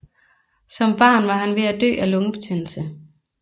Som barn var han ved at dø af lungebetændelse